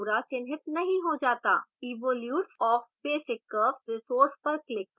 evolutes of basic curves resource पर click करें